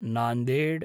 Nanded